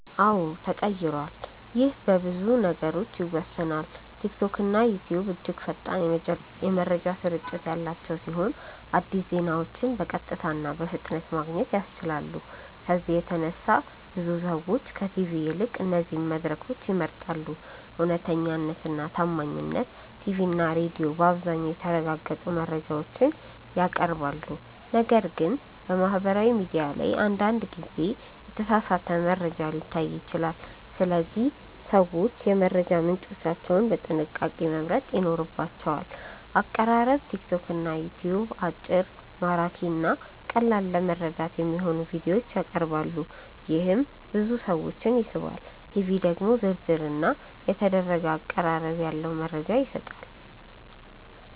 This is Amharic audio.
አዎን ተቀይሯል ይህ በብዙ ነገሮች ይወሰናል። ቲክቶክና ዩትዩብ እጅግ ፈጣን የመረጃ ስርጭት ያላቸው ሲሆን አዲስ ዜናዎችን በቀጥታ እና በፍጥነት ማግኘት ያስችላሉ። ከዚህ በተነሳ ብዙ ሰዎች ከቲቪ ይልቅ እነዚህን መድረኮች ይመርጣሉ። እውነተኛነት እና ታማኝነት ቲቪ እና ሬዲዮ በአብዛኛው የተረጋገጡ መረጃዎችን ያቀርባሉ፣ ነገር ግን በማህበራዊ ሚዲያ ላይ አንዳንድ ጊዜ የተሳሳተ መረጃ ሊታይ ይችላል። ስለዚህ ሰዎች የመረጃ ምንጮቻቸውን በጥንቃቄ መምረጥ ይኖርባቸዋል። አቀራረብ ቲክቶክ እና ዩትዩብ አጭር፣ ማራኪ እና ቀላል ለመረዳት የሚሆኑ ቪዲዮዎችን ያቀርባሉ፣ ይህም ብዙ ሰዎችን ይስባል። ቲቪ ደግሞ ዝርዝር እና የተደረገ አቀራረብ ያለው መረጃ ይሰጣል።